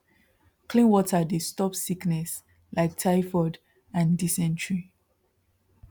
clean water dey stop sickness like typhoid and dysentery